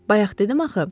Bayaq dedim axı.